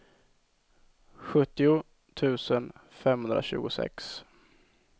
sjuttio tusen femhundratjugosex